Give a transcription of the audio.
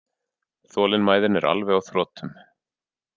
Þolinmæðin er alveg á þrotum